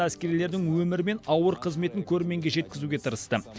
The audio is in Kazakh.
әскерилердің өмірі мен ауыр қызметін көрерменге жеткізуге тырысты